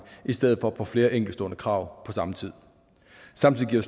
i stedet for på flere enkeltstående krav på samme tid samtidig giver